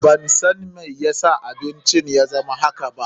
Ban san mai ya sa abincin ya zama haka ba.